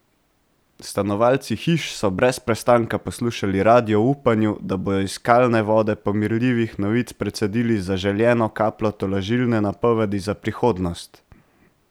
Stanovalci hiš so brez prestanka poslušali radio v upanju, da bodo iz kalne vode pomirljivih novic precedili zaželeno kapljo tolažilne napovedi za prihodnost.